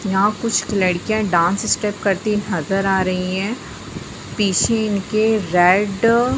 यहा कुछ लड़किया डांस स्टेप करती नजर आ रही है। पीछे इन के रेड --